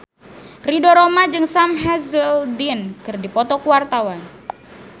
Ridho Roma jeung Sam Hazeldine keur dipoto ku wartawan